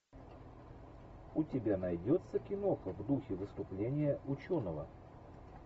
у тебя найдется киноха в духе выступления ученого